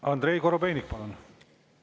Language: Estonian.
Andrei Korobeinik, palun!